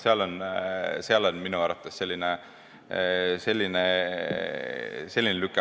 Seal on minu arvates selline lüke.